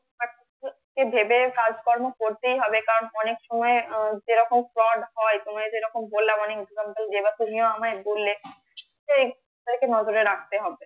ভেবে কাজকর্ম করতেই হবে কারন অনেক সময় যেরকম সমাধান হয় তোমরা যেরকম বললে সেই হয়ত করে রাখতে হবে